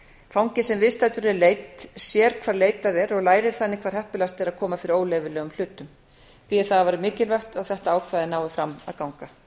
fangi sem viðstaddur er leit sér hvar er leitað og lærir þannig hvar heppilegast er að koma fyrir óleyfilegum hlutum því er það afar mikilvægt að þetta ákvæði nái fram að ganga